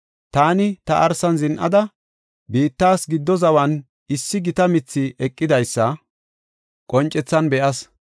Taani ta arsan zin7ada, biittas gidi zawan issi gita mithi eqidaysa qoncethan be7as.